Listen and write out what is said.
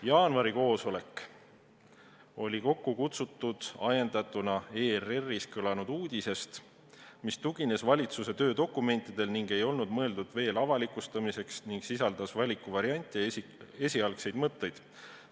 Jaanuari koosolek oli kokku kutsutud ajendatuna ERR-is kõlanud uudisest, mis tugines valitsuse töödokumentidel ega olnud veel mõeldud avalikustamiseks, kuna sisaldas valikuvariante ja esialgseid mõtteid.